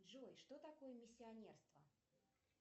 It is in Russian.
джой что такое миссионерство